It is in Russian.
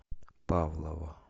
павлово